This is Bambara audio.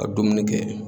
Ka dumuni kɛ